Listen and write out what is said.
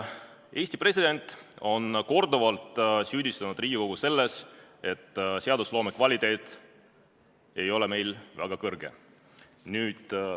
Eesti president on korduvalt süüdistanud Riigikogu selles, et seadusloome kvaliteet ei ole meil väga kõrge.